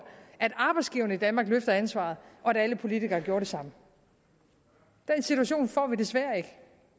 at arbejdsgiverne i danmark løfter ansvaret og at alle politikere gjorde det samme den situation får vi desværre ikke